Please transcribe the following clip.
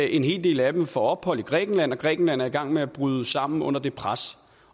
en hel del af dem får ophold i grækenland og grækenland er i gang med at bryde sammen under det pres